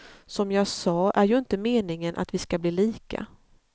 Som jag sa är ju inte meningen att vi skall bli lika.